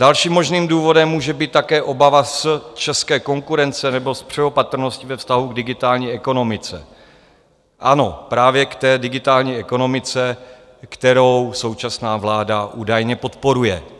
Dalším možným důvodem může být také obava z české konkurence nebo z přeopatrnosti ve vztahu k digitální ekonomice, ano, právě k té digitální ekonomice, kterou současná vláda údajně podporuje.